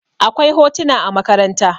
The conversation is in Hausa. akwai a hotuna a makaranta